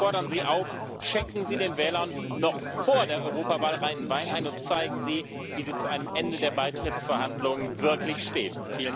Wir fordern Sie auf Schenken Sie den Wählern noch vor der Europawahl reinen Wein ein und zeigen Sie, wie sie zu einem Ende der Beitrittsverhandlungen wirklich stehen.